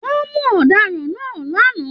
Wọn mú ọdaràn náà l'ana.